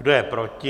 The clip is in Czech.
Kdo je proti?